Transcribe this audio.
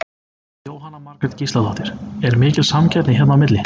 Jóhanna Margrét Gísladóttir: Er mikil samkeppni hérna á milli?